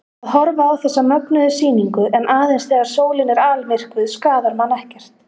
Að horfa á þessa mögnuðu sýningu, en aðeins þegar sólin er almyrkvuð, skaðar mann ekkert.